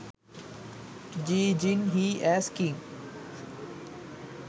ji jin hee as king